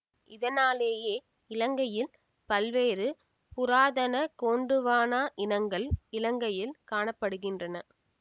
இதனாலேயே இலங்கையில் பல்வேறு புராதன கோண்டுவானா இனங்கள் இலங்கையில் காண படுகின்றன